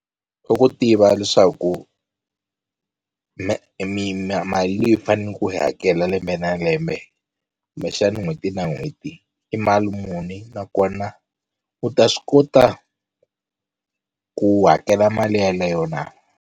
I ku tiva leswaku mali leyi u fane ku yi hakela lembe na lembe kumbexani n'hweti na n'hweti i mali muni nakona u ta swi kota ku hakela mali yeleyo na.